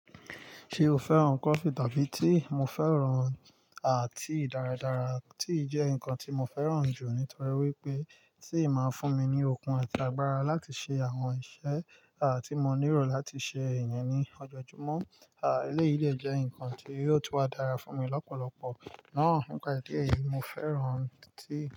Ṣé o fẹ́ràn coffee tàbí tea? Mo fẹ́ràn à tea dáradára, tea jẹ́ nǹkan tí mo fẹ́ràn jù nítorí wípé tea máa ń fún mi ní okun àti agbára láti ṣe àwọn iṣẹ́ à tí mo nílò láti ṣe ìyẹn ní ọjọ́ọjúmọ́. À, eléyìí le jẹ́ ǹkan tí yóò tún wa dára fún mi lọ́pọ̀lọpọ̀. Náà ni pá èdè i yìí, mo fẹ́ràn tea.